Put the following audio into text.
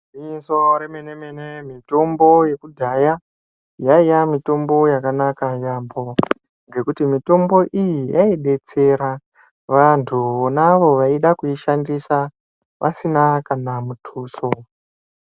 Gwinyiso remene-mene mitombo yekudhaya yaiya mitombo yakanaka yaambo. Ngekuti mitombo iyi yaibetsera vantu vonavo vaida kuishandisa vasina kana mutuso.